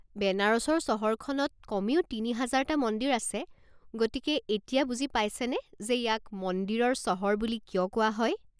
বেনাৰসৰ চহৰখনত কমেও তিনি হাজাৰটা মন্দিৰ আছে গতিকে এতিয়া বুজি পাইছেনে যে ইয়াক মন্দিৰৰ চহৰ বুলি কিয় কোৱা হয়।